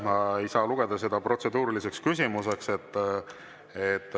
Ma ei saa lugeda seda protseduuriliseks küsimuseks.